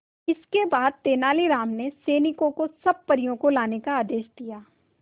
इसके बाद तेलानी राम ने सैनिकों को सब परियों को लाने का आदेश दिया